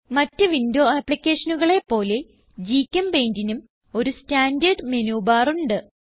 മറ്റ് വിൻഡോ ആപ്പ്ലിക്കേഷനുകളെ പോലെ GChempaintനും ഒരു സ്റ്റാൻഡർഡ് menu ബാർ ഉണ്ട്